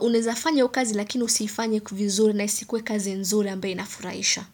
unaeza fanya kazi lakini usiifanye vizuri na isikue kazi nzuri ambae inafurahisha.